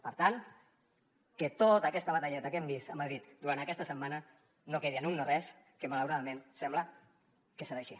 per tant que tota aquesta batalleta que hem vist a madrid durant aquesta setmana no quedi en un no res que malauradament sembla que serà així